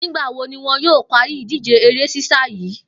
Nígbà wo ni wo̩n yóò parí ìdíje eré sísá yìí?